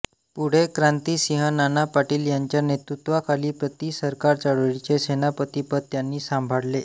पुढे क्रांतिसिंह नाना पाटील यांच्या नेतृत्वाखाली प्रतिसरकार चळवळीचे सेनापतिपद त्यांनी सांभाळले